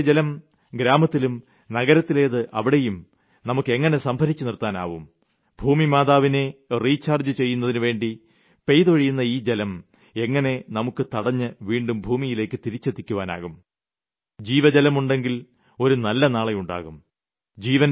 ഗ്രാമത്തിലെ ജലം ഗ്രാമത്തിലും നഗരത്തിലേത് അവിടെയും നമുക്ക് എങ്ങിനെ സംഭരിച്ച് നിർത്താനാവും ഭൂമിമാതാവിനെ റീചാർജ്ജ് ചെയ്യുന്നതിനുവേണ്ടി പെയ്തൊഴിയുന്ന ഈ ജലം എങ്ങിനെ നമുക്ക് തടഞ്ഞ് വീണ്ടും ഭൂമിയിലേക്ക് തിരിച്ചെത്തിക്കുവാനാവും ജീവജലമുണ്ടെങ്കിൽ ഒരു നല്ല നാളെ ഉണ്ടാകും